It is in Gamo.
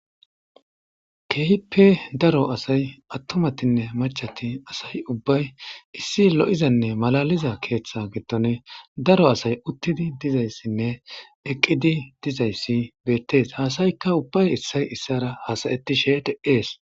keehipe daro asay attomatinne machati asayi ubbay issi lo7izanne malaliza keeththa gittone daro asay uttidi dizayssinne eqqidi dizayssi beettees haasayikka ubbay issay issara hasayetishe de7ees